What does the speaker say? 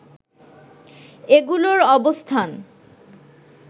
এগুলোর অবস্থান